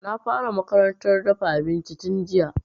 Na fara makarantar dafa abinci tun jiya